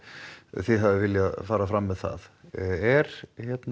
þið hafið viljað fara fram með það er